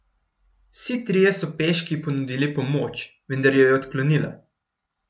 Vsi trije so peški ponudili pomoč, vendar jo je odklonila.